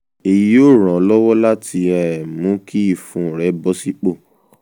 èyí yóò ràn án lọ́wọ́ láti um mú kí ìfun rẹ̀ bọ sípò